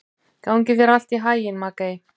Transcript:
Gangi þér allt í haginn, Maggey.